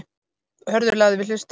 Hörður lagði við hlustir.